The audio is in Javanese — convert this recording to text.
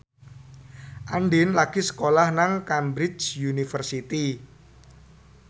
Andien lagi sekolah nang Cambridge University